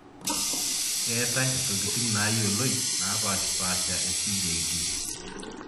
Ketae ntokitin nayioloi napashpasha e CJD.